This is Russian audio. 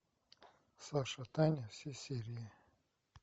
саша таня все серии